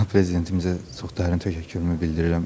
Cənab prezidentimizə çox dərin təşəkkürümü bildirirəm.